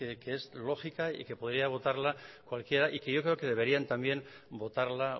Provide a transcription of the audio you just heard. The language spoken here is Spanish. que es lógica y que podría votarla cualquiera y que yo creo que deberían también votarla